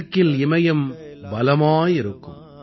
வடக்கில் இமயம் பலமாய் இருக்கும்